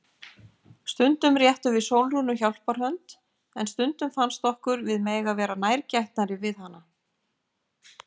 Stundum réttum við Sólrúnu hjálparhönd en stundum fannst okkur við mega vera nærgætnari við hana.